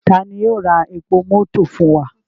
Tani yoo ra epo mọto fun wa?